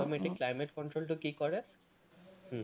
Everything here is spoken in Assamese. automatic climate control তো কি কৰে, হম